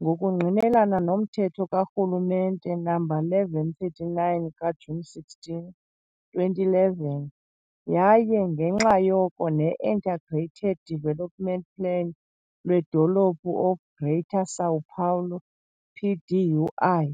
ngokungqinelana nomthetho karhulumente No. 1139 ka-Juni 16, 2011 yaye ngenxa yoko ne-Integrated Development Plan lweDolophu of Greater São Paulo, PDUI.